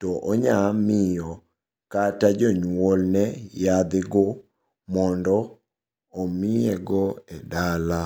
to onyamiyo kata jonyuolne yathe go mondo omiyego e dala.